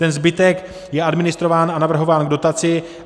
Ten zbytek je administrován a navrhován k dotaci.